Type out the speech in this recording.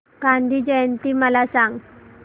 गांधी जयंती मला सांग